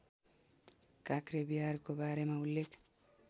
काँक्रेविहारको बारेमा उल्लेख